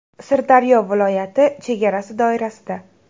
Sirdaryo viloyati chegarasi doirasida.